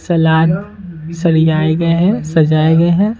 सलाद सरियाए गए हैं सजाए गए हैं।